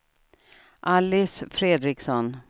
Alice Fredriksson